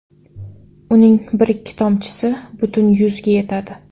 Uning bir ikki tomchisi butun yuzga yetadi.